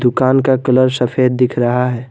दुकान का कलर सफेद दिख रहा है।